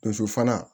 Donso fana